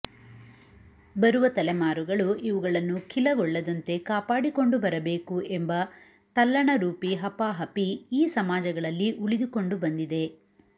ಬರುವ ತಲೆಮಾರುಗಳು ಇವುಗಳನ್ನು ಖಿಲಗೊಳ್ಳದಂತೆ ಕಾಪಾಡಿಕೊಂಡು ಬರಬೇಕು ಎಂಬ ತಲ್ಲಣರೂಪಿ ಹಪಾಹಪಿ ಈ ಸಮಾಜಗಳಲ್ಲಿ ಉಳಿದುಕೊಂಡು ಬಂದಿದೆ